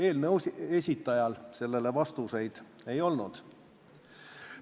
Eelnõu esitajal sellele vastuseid ei olnud.